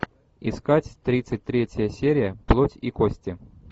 искать тридцать третья серия плоть и кости